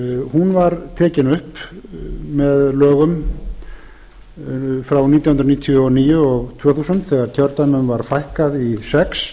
hún var tekin upp með lögum frá nítján hundruð níutíu og níu og tvö þúsund þegar kjördæmum var fækkað í sex